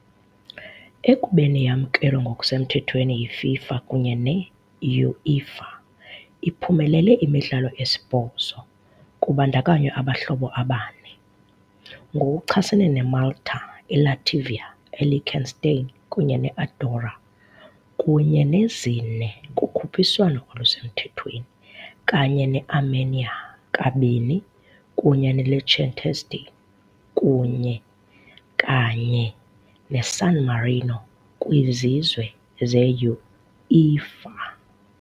Ekubeni yamkelwa ngokusemthethweni yiFIFA kunye ne-UEFA iphumelele imidlalo esibhozo, kubandakanywa abahlobo abane ngokuchasene neMalta, iLatvia, iLiechtenstein kunye neAndorra, kunye nezine kukhuphiswano olusemthethweni, kanye neArmenia, kabini kunye neLiechtenstein kunye kanye neSan Marino kwiZizwe ze-UEFA.